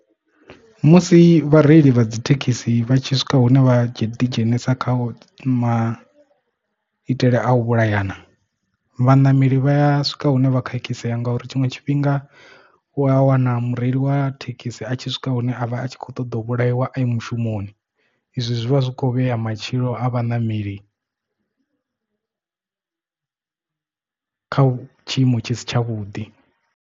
Musi vhareili vha dzi thekhisi vhatshi swika hune vha dzhie ḓi dzhenisa kha ma itele a u vhulayana vhaṋameli vha ya swika hune vha khakhisea ngauri tshiṅwe tshifhinga u u a wana mureili wa thekhisi a tshi swika hune a vha a tshi kho ṱoḓa u vhulaiwa a mushumoni izwi zwi vha zwi khou vhea matshilo a vhaṋameli kha tshiimo tshi si tshavhuḓi.